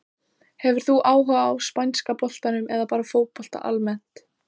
Hefur þú áhuga á spænska boltanum eða bara fótbolta almennt?